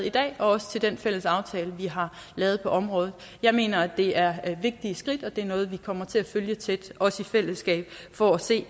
i dag og også til den fælles aftale vi har lavet på området jeg mener at det er vigtige skridt og at det er noget vi kommer til at følge tæt også i fællesskab for at se